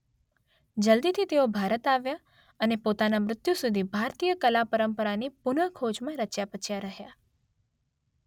જલ્દીથી તેઓ ભારત આવ્યાં અને પોતાના મૃત્યુ સુધી ભારતીય કલા પરંપરાની પુન ખોજમાં રચ્યાપચ્યા રહ્યાં.